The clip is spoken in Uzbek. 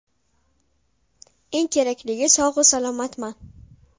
Eng kerakligi sog‘-u salomatman.